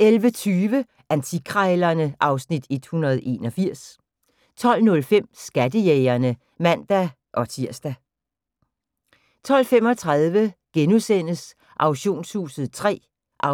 11:20: Antikkrejlerne (Afs. 181) 12:05: Skattejægerne (man-tir) 12:35: Auktionshuset III (5:12)*